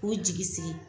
K'u jigi sigi